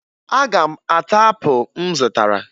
Aga m ata apụ m zụtara